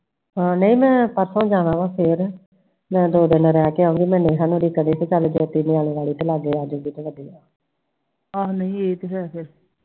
ਠੀਕ ਫਿਰ